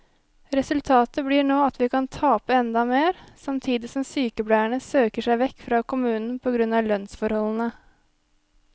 Resultatet blir nå at vi kan tape enda mer, samtidig som sykepleierne søker seg vekk fra kommunen på grunn av lønnsforholdene.